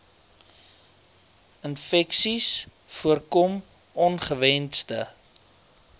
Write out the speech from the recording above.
infeksies voorkom ongewensde